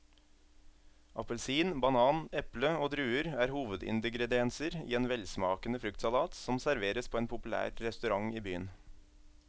Appelsin, banan, eple og druer er hovedingredienser i en velsmakende fruktsalat som serveres på en populær restaurant i byen.